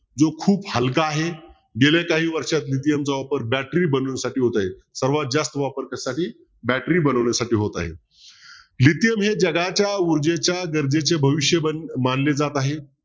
जो खूप हलका आहे गेल्या काही वर्षांपासून lithium चा वापर battery बनवण्यासाठी होत आहे सर्वात जास्त वापर कशासाठी battery बनवण्यासाठी होत आहे. lithium हे जगाच्या ऊर्जेच्या गरजेचे भविष्य मानले जात आहे.